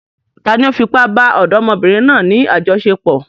Tani ó fi ipá bá ọ̀dọ́mọbìnrin náà ní àjọṣepọ̀?